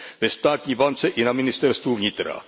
Ve státní bance i na ministerstvu vnitra.